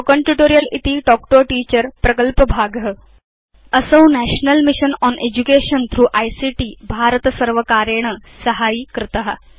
Spoken tutorial इति talk to a teacher प्रकल्पभाग असौ national mission on education through ICT MHRD भारतसर्वकारेण साहाय्यीकृत